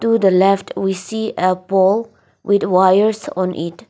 to the left we see a pole with wires on it.